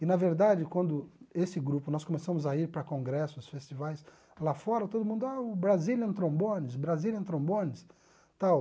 E, na verdade, quando esse grupo, nós começamos a ir para congressos, festivais, lá fora todo mundo, ah, o Brazilian Trombones, Brazilian Trombones, tal.